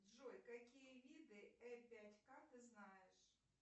джой какие виды э пять ка ты знаешь